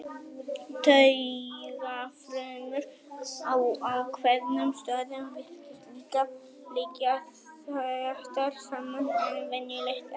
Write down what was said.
Taugafrumur á ákveðnum stöðum virtust líka liggja þéttar saman en venjulegt er.